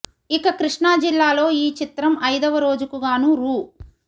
ఇక కృష్ణా జిల్లాలో ఈ చిత్రం ఐదోవ రోజుకు గానూ రూ